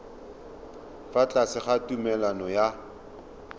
fa tlase ga tumalano ya